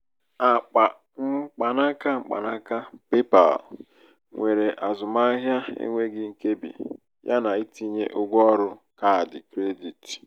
akpa mkpanaka mkpanaka paypal nwere azụmahịa enweghị nkebi yana ntinye ụgwọ ọrụ kaadị kredit.